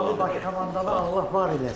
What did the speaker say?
Ali Baş Komandanı Allah var eləsin.